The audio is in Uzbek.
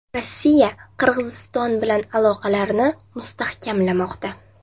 Rossiya Qirg‘iziston bilan aloqalarini mustahkamlamoqda.